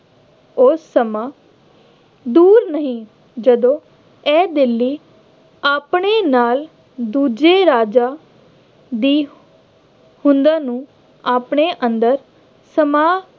ਉਹ ਸਮਾ ਦੂਰ ਨਹੀਂ ਜਦੋਂ ਇਹ ਦਿੱਲੀ ਆਪਣੇ ਨਾਲ ਦੂਜੇ ਰਾਜਾਂ ਦੀ ਹੋਂਦਾਂ ਨੂੰ ਆਪਣੇ ਅੰਦਰ ਸਮਾ